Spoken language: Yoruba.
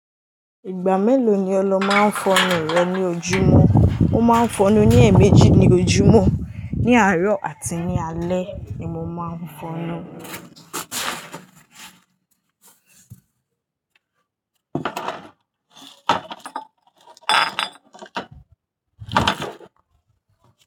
Ìgbà mélòó ni ọlọ máa ń fọnu rẹ̀ ní ojúmọ́? Mo máa ń fọnú ní èèmejì ní ojúmọ́. Ni àárọ̀ àti ní alẹ́ ni mo máa ń fọnú.